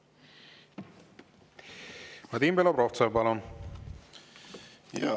Vadim Belobrovtsev, palun!